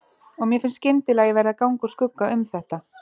Og mér finnst skyndilega ég verði að ganga úr skugga um þetta.